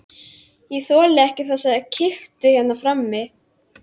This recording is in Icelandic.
Ég þoli ekki þessa kytru hérna frammi.